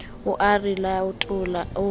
o a re latola o